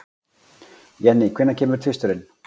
Jenny, hvenær kemur tvisturinn?